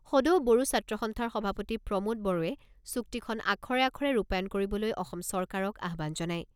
সদৌ বড়ো ছাত্ৰ সন্থাৰ সভাপতি প্ৰমোদ বড়োৱে চুক্তিখন আখৰে আখৰে ৰূপায়ণ কৰিবলৈ অসম চৰকাৰক আহ্বান জনায়।